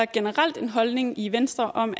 generel holdning i venstre om